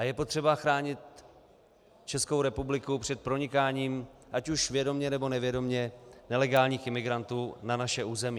A je potřeba chránit Českou republiku před pronikáním, ať už vědomě, nebo nevědomě, nelegálních imigrantů na naše území.